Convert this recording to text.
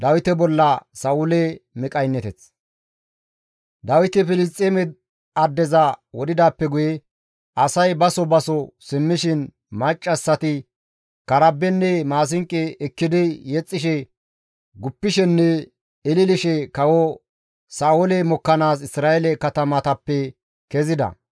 Dawiti Filisxeeme addeza wodhidaappe guye asay baso baso simmishin maccassati karabenne maasinqo ekkidi yexxishe, guppishenne ililishe kawo Sa7oole mokkanaas Isra7eele katamatappe kezida.